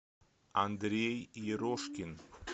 андрей ерошкин